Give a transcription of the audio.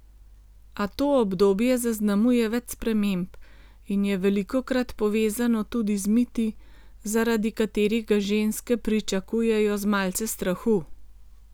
A to obdobje zaznamuje več sprememb in je velikokrat povezano tudi z miti, zaradi katerih ga ženske pričakujejo z malce strahu.